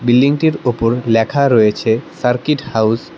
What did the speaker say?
বিল্ডিংটির ওপর লেখা রয়েছে সার্কিট হাউস ।